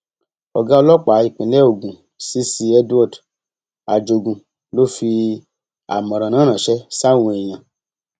ọgá ọlọpàá ìpínlẹ ogun cc edward ajogun ló fi àmọràn náà ránṣẹ sáwọn èèyàn